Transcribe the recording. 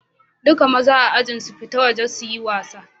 Dukan mazan a'ajin su fita waje su yi wasa.